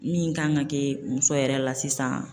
Min kan ka kɛ muso yɛrɛ la sisan